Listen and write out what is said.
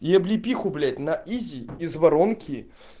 и облепиху блять на изе из воронки